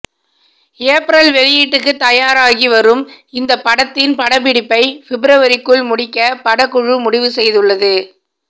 April வெளியீட்டுக்குத் தயாராகி வரும் இந்தப் படத்தின் படப்பிடிப்பை பிப்ரவரிக்குள் முடிக்கப் படக்குழு முடிவு செய்துள்ளது